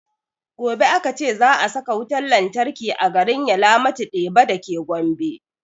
Gobe aka ce za a saka wutan lantarki a garin yalamatu deba dake gombe